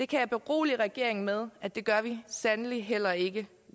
kan berolige regeringen med at det gør vi sandelig heller ikke